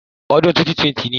Odún 2020 ni